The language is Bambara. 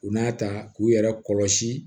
U n'a ta k'u yɛrɛ kɔlɔsi